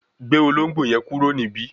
gbé Ológbò yen kúrò níbí!